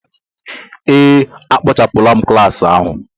Ee, a kpochapụla m klas ahụ.